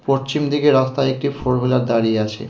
পর্চিম দিকের রাস্তায় একটি ফোর হুইলার দাঁড়িয়ে আছে.